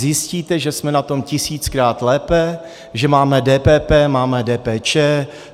Zjistíte, že jsme na tom tisíckrát lépe, že máme DPP, máme DPČ.